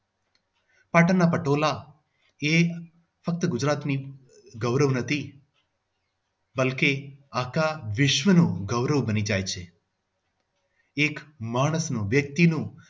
પાટણના પટોળા એ એક ફક્ત ગુજરાતની ગૌરવ નથી બલ્કી આખા વિશ્વનું ગૌરવ બની જાય છે. એક માણસનું વ્યક્તિનું